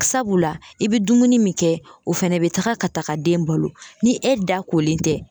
Sabula i bɛ dumuni min kɛ o fɛnɛ bɛ taga ka taga den balo ni e da kolen tɛ